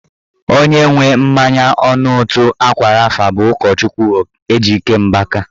Onye nwe mmanya ọnụ ụtọ ákwà rafa bụ ụkọchukwu Ejike Mbaka